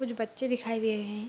कुछ बच्चे दिखाई दे रहे हैं।